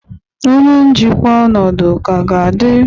Onye njikwa ọnọdụ ka ga-adị?